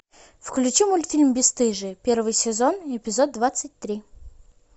включи мультфильм бесстыжие первый сезон эпизод двадцать три